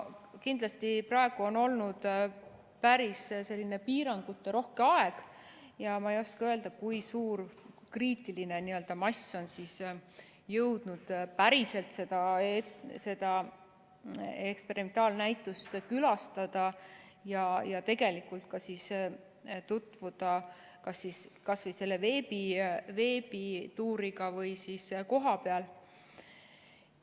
Kuna praegu on olnud päris piiranguterohke aeg, siis ma ei oska öelda, kui suur n‑ö kriitiline mass on jõudnud päriselt seda eksperimentaalnäitust külastada ja sellega tutvuda kas veebituuriga või siis kohapeal.